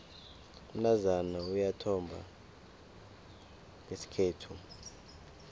umntazana uyathomba ngesikhethu